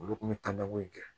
Olu kun bɛ ta ko in kɛ